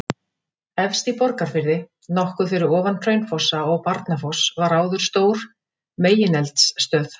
Efst í Borgarfirði, nokkuð fyrir ofan Hraunfossa og Barnafoss var áður stór megineldstöð.